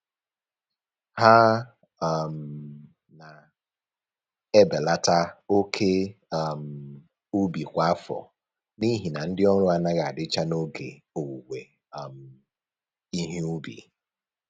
Ha um na-ebelata oke um ubi kwa afọ n'ihi na ndị ọrụ anaghị adịcha n'oge owuwe um ihe ubi